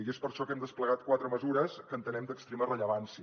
i és per això que hem desplegat quatre mesures que entenem d’extrema rellevància